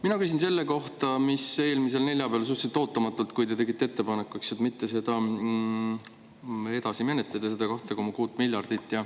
Mina küsin selle kohta, mis eelmisel neljapäeval suhteliselt ootamatult, kui te tegite ettepaneku mitte edasi menetleda seda 2,6 miljardit.